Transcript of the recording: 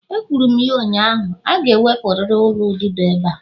Ekwuru m ya ụnyaahụ, a ga-ewepụrịrị ụlọ ududo ebe a!